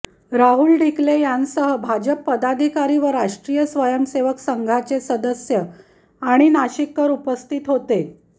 राहुल ढिकले यांसह भाजप पदाधिकारी व राष्ट्रीय स्वयंसेवक संघाचे सदस्य आणि नाशिककर उपस्थित होते